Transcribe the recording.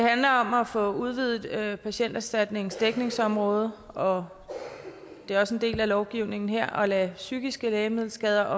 handler om at få udvidet patienterstatningens dækningsområde og det er også en del af lovgivningen her at lade psykiske lægemiddelskader